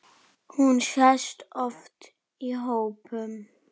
Hún sést oft í hópum.